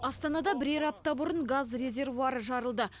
астанада бірер апта бұрын газ резервуары жарылды